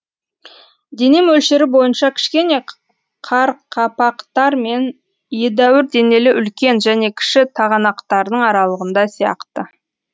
дене мөлшері бойынша кішкене қарқапақтар мен едәуір денелі үлкен және кіші тағанақтардың аралығында сияқты